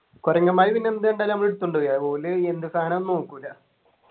കൊരങ്ങന്മാര് പിന്നെ എന്ത് കണ്ടാലും നമ്മൾ എടുത്തൊണ്ടളയും ഓല് എന്ത് സാധനാന്ന് നോക്കൂല